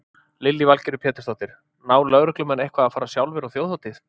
Lillý Valgerður Pétursdóttir: Ná lögreglumenn eitthvað að fara sjálfir á Þjóðhátíð?